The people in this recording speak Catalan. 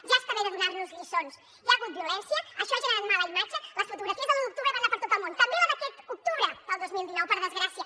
ja està bé de donar nos lliçons hi ha hagut violència això ha generat mala imatge les fotografies de l’un d’octubre van anar per tot el món també les d’aquest octubre del dos mil dinou per desgràcia